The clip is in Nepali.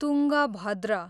तुङ्गभद्र